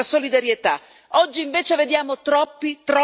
Oggi invece vediamo troppi, troppi egoismi.